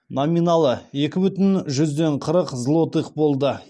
номиналы екі бүтін жүзден қырық злотых болды